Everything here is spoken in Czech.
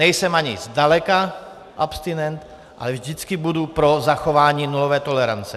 Nejsem ani zdaleka abstinent, ale vždycky budu pro zachování nulové tolerance.